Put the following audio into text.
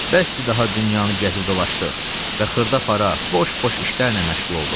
Bəsdir daha dünyanı gəzib dolaşdıq və xırda-para, boş-boş işlərlə məşğul olduq.